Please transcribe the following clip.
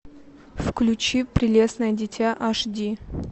включи прелестное дитя аш ди